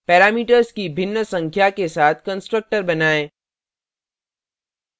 parameters की भिन्न संख्या के साथ constructors बनाएँ